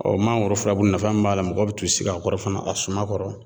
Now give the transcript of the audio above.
Ɔɔ mankɔrɔ fulabulu nafa min b'a la mɔgɔw bi t'u sigi a kɔrɔ fana a suma kɔrɔ